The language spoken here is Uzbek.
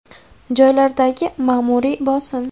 Joylardagi ma’muriy bosim.